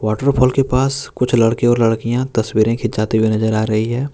Waterfall के पास कुछ लड़के और लड़कियां तस्वीरें खिंचाते हुए नजर आ रही है।